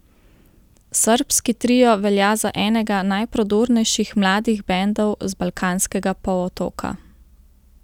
Srbski trio velja za enega najprodornejših mladih bendov z Balkanskega polotoka.